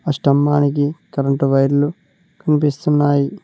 ఆ స్తంభానికి కరెంట్ వైర్లు కనిపిస్తున్నాయి.